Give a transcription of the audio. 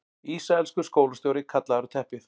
Ísraelskur skólastjóri kallaður á teppið